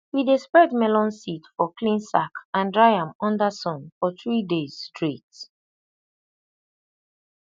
we dey spread melon seed for clean sack and dry am under sun for three days straight